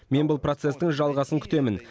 мен бұл процестің жалғасын күтемін